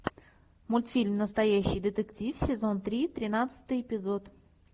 мультфильм настоящий детектив сезон три тринадцатый эпизод